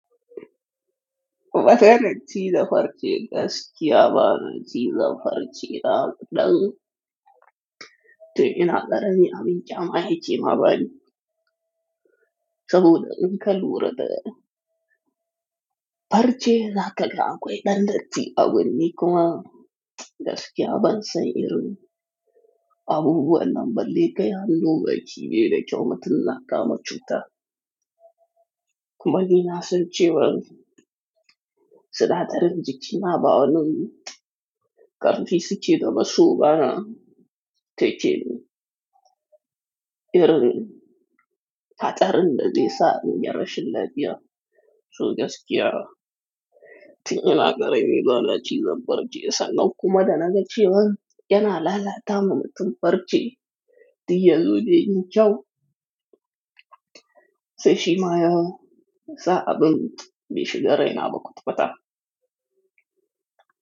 Watan ci da farce gas kiyaban ci da farce daɗa, tin ina ƙarami, abin ƙyama ma yake bani. Saboda in ka lura da farce za ka ga akwai, ɗan datti abu ne kuma gaskiya ban sani irin abubuwannan balle kai anzo bacci baida kyau mutun na kama cuta. Kuma ni na san cewa suna tarin jiki ma ba'a nuna karfi suke da ba so ba na takinh irin hatsarin da zai sa inyi rashilla fiya sogaskiya. Tin ina ƙarami, bana cizan farce sannan kuma da na gace wa yana lala ta ma mutum farce, tin ya zo dai kyau, sai shi maya sa abin be shiga raina ba kwata kwa ta.